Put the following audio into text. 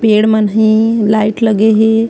पेड़ मन हे लाइट लगे हे।